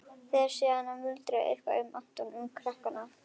Fer síðan að muldra eitthvað um Anton, um krakkana.